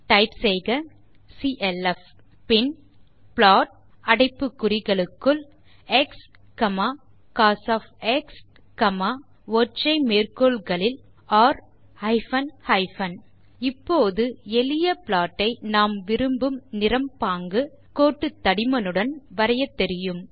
type செய்க clf பின் plot அடைப்பு குறிகளுக்குள் எக்ஸ் கோஸ் ஒற்றை மேற்கோள் குறிகளுக்குள் ர் ஹைபன் ஹைபன் இப்போது எளிய ப்ளாட் ஐ நாம் விரும்பும் நிறம் பாங்கு கோட்டு தடிமனுடன் வரையத் தெரியும்